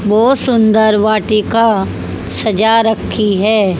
बहुत सुंदर वाटिका सजा रखी है।